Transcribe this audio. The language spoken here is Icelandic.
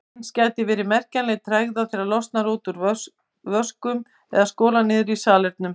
Eins gæti verið merkjanleg tregða þegar losað er úr vöskum eða skolað niður í salernum.